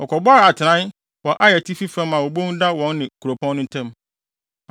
Wɔkɔbɔɔ atenae wɔ Ai atifi fam a obon da wɔne kuropɔn no ntam.